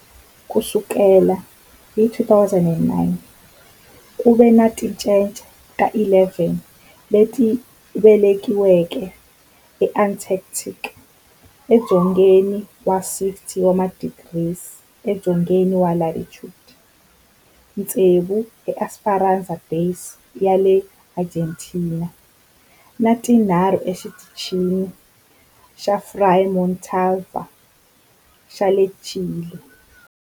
Ku sukela hi 2009, ku ve ni tincece ta 11 leti velekiweke eAntarctica, edzongeni wa 60 wa tidigri edzongeni wa latitude, tsevu eEsperanza Base ya le Argentina ni tinharhu eXitichini xa Frei Montalva xa le Chile.